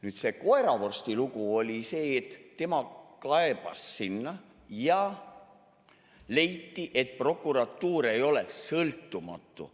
Nüüd see koeravorsti lugu oli see, et tema kaebas sinna ja leiti, et prokuratuur ei ole sõltumatu.